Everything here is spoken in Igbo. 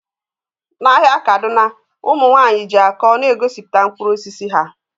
N'ahịa kaduna ụmụ nwanyị ji akọ na-egosipụta mkpụrụ osisi ha